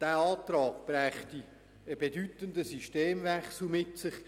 Dieser Antrag brächte einen bedeutenden Systemwechsel mit sich.